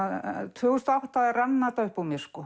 tvö þúsund og átta rann þetta upp úr mér